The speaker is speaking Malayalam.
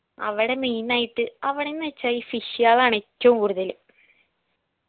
അവടെ main ആയിട്ട് അവിടെന്ന് വെച്ച ഈ fish കളാണ് എറ്റവും കൂടുതല്